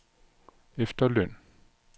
efterløn